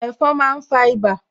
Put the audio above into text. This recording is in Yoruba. Ẹ̀fon máa ń fa ibà